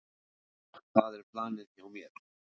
Það er planið hjá mér.